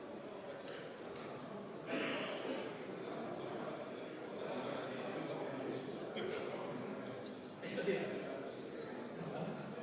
Kas Riigikogu liikmetel on hääletamise korraldamise kohta proteste?